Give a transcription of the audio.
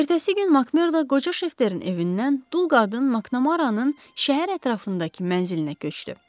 Ertəsi gün Makmerdo qoca Şefterin evindən dul qadın Maknarannın şəhər ətrafındakı mənzilinə köçdü.